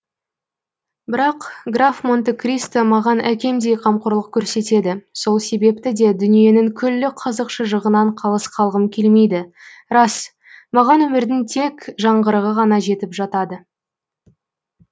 бірақ граф монте кристо маған әкемдей қамқорлық көрсетеді сол себепті де дүниенің күллі қызық шыжығынан қалыс қалғым келмейді рас маған өмірдің тек жаңғырығы ғана жетіп жатады